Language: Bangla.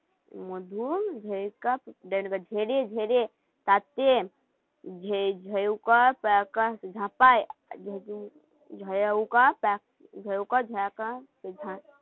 ঝাঁকা ঝাঁকা